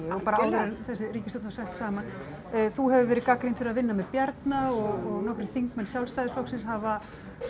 og bara áður en þessi ríkisstjórn var sett saman þú hefur verið gagnrýnd fyrir að vinna með Bjarna og nokkrir þingmenn Sjálfstæðisflokksins hafa